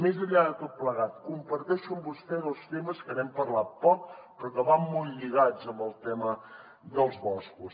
més enllà de tot plegat comparteixo amb vostè dos temes que n’hem parlat poc però que van molt lligats al tema dels boscos